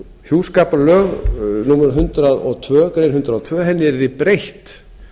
hjúskaparlög númer hundrað og tvær greinar hundrað og tvö að henni yrði breytt